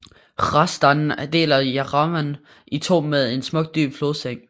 Hrazdan deler Jerevan i to med en smuk dyb flodseng